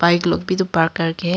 एक लोग भी तो पार्क कर के है।